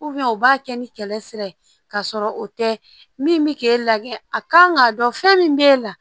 u b'a kɛ ni kɛlɛ sira ye ka sɔrɔ o tɛ min bɛ k'e la a ka kan k'a dɔn fɛn min b'e la